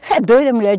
Você é doida, mulher?